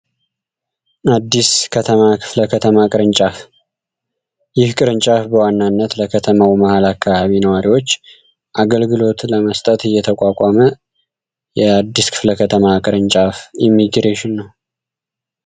አዲስ ከተማ ክፍለ ከተማ ቅርንጫፍ በዋናነት ለከተማው መሃል አካባቢ ነዋሪዎች አገልግሎት ለመስጠት እየተቋቋመ ክፍለ ከተማ ቅርንጫፍ ኢሚግሬሽን ነው